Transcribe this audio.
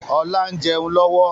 Ọlá ń jẹun lọ́wọ́